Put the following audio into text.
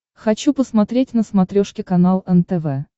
хочу посмотреть на смотрешке канал нтв